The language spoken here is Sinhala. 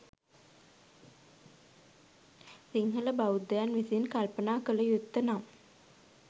සිංහල බෞද්ධයන් විසින් කල්පනා කලයුත්ත නම්